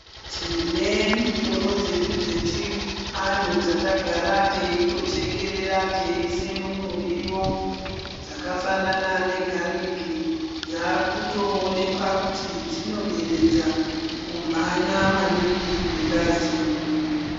Tine mitombo dzedu dzechianhu dzatagara teitochekerera teiise mumuriwo, dzakafanana negaliki. Dzaakutoonekwa kuti dzinoderedza kumhanya maningi kwengazi mumwiri.